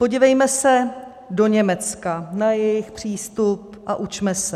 Podívejme se do Německa na jejich přístup a učme se.